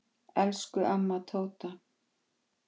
Elsku amma Tóta.